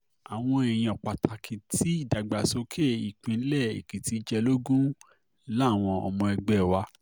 àwọn èèyàn pàtàkì tí ìdàgbàsókè um ìpínlẹ̀ èkìtì jẹ lógún um làwọn ọmọ ẹgbẹ́ wa